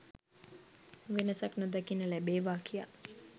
වෙනසක් නොදකින්න ලැබේවා කියා